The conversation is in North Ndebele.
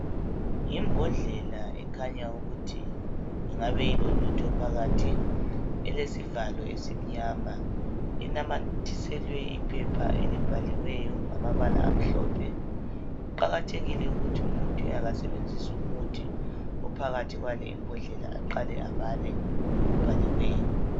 Yimbodlela ekhanya ukuthi ingabe ilolutho phakathi. Elesivalo esimnyama, inamathiselwe iphepha elibhaliweyo ngamabala amhlophe. Kuqakathekile ukuthi umuntu engakasebenzisi umuthi ophakathi kwale imbodlela aqale abale obhaliweyo.